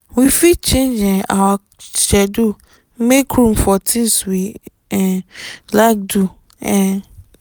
we fit change um our schedule make room for things we um like do um